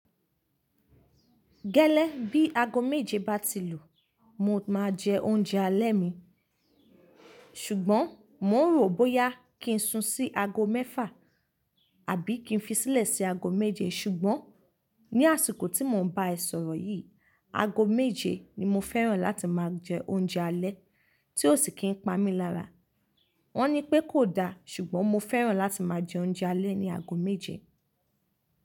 Gẹ́lẹ́ bí i aago méje bá ti lù, mo máa jẹ oúnjẹ alẹ́ mi. Ṣùgbọ́n mò ń rò bóyá kí n sun sí aago mẹ́fà àbí kí n fi sílẹ̀ sí aago méje. Ṣùgbọ́n ní àsìkò tí mò ń ba ẹ sọ̀rọ̀ yìí, aago méje ni mo fẹ́ràn láti máa jẹ oúnjẹ alẹ́ tí ó sì kí n pa mí lára. Wọ́n ní pé kò da, ṣùgbọ́n mo fẹ́ràn láti máa jẹ oúnjẹ alẹ́ ní aago méje.